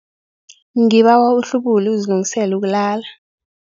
Ngibawa uhlubule uzilungiselele ukulala.